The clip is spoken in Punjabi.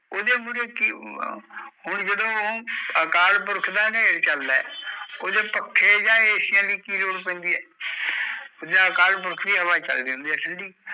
ਉਦੇ ਮੁੜੇ ਕਿ ਹੁਣ ਜਦੋ ਅਕਾਲ ਪੁਰਖ ਦਾ ਨ੍ਹੇਰ ਚਲਦਾ ਏ ਉਦੇ ਮੁੜੇ ਪੱਖੇ ਜਾਂ ਐਸੀਆਂ ਦੀ ਕੀ ਲੋੜ ਪੈਂਦੀ ਆ ਅਕਾਲ ਪੁਰਖ ਦੀ ਹਵਾ ਚਾਲ ਦੀ ਹੈ ਠੰਡੀ